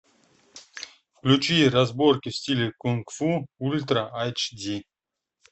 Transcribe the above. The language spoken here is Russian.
включи разборки в стиле кунг фу ультра айч ди